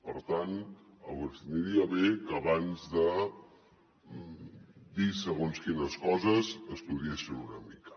per tant aniria bé que abans de dir segons quines coses ho estudiessin una mica